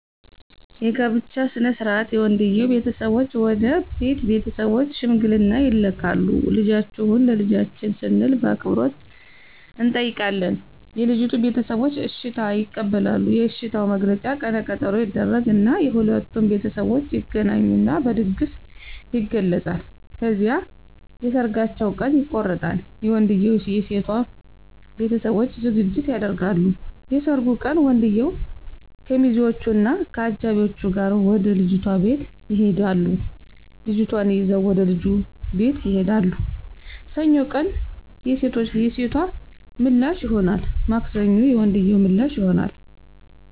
የጋብቻ ሥነ ሥርዓት የወንድየዉ ቤተሰቦች ወደ ሴት ቤተሰቦች ሽምግልና ይልካሉ ልጃችሁን ለልጃችን ስንል በአክብሮት እንጠይቃለን የልጂቱ ቤተሰቦች እሽታ ይቀበላሉ የእሽታዉ መግለጫ ቀነ ቀጠሮ ይደረግ እና የሁለቱም ቤተሠቦች ይገናኙና በድግስ ይገለፃል። ከዚያም የሠርጋቸዉ ቀን ይቆረጣል የወንድየዉም የሴቶም ቤተሠቦች ዝግጅት ያደርጋሉ። የሠርጉ ቀን ወንድየዉ ከሚዚወች እና ከአጃቢወቹ ጋር ወደ ልጅቷ ቤት ይሄዳሉ ልጅቷን ይዘዉ ወደ ልጁ ቤት ይሄዳሉ። ሰኞ ቀን የሴቶ ምላሽ ይሆናል ማክሰኞ የወንድየዉ ምላሽ ይሆናል።